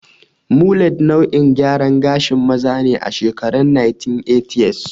Mulet nau'in gyaran gashin maza ne a shekarun 1980s.